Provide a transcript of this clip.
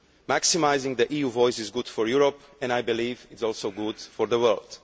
Maximising the EU's voice is good for Europe and, I believe, it is also good for the world.